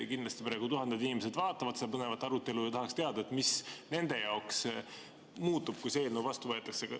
Kindlasti praegu tuhanded inimesed vaatavad seda põnevat arutelu ja tahaksid teada, mis nende jaoks muutub, kui see eelnõu vastu võetakse.